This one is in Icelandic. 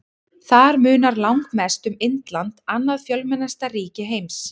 Þar munar langmest um Indland, annað fjölmennasta ríki heims.